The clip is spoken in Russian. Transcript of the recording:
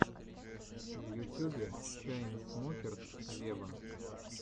в ютюбе чайнсмокерс вево